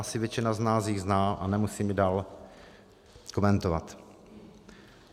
Asi většina z nás ji zná a nemusím ji dál komentovat.